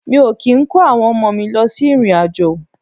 Mi o ki n ko awon omo mi lo si irin-ajo.